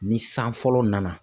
Ni san fɔlɔ nana